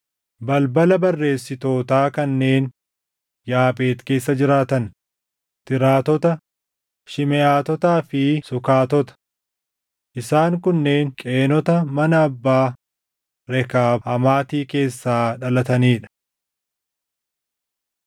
balbala barreessitootaa kanneen Yaabeex keessa jiraatan: Tiraatota, Shimeʼaatotaa fi Sukaatota. Isaan kunneen Qeenota mana abbaa Rekaab Hamaati keessaa dhalatanii dha.